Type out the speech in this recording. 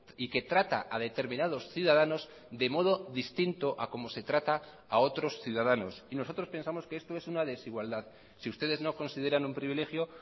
y que trata a determinados ciudadanos de modo distinto a como se trata a otros ciudadanos y nosotros pensamos que esto es una desigualdad si ustedes no consideran un privilegio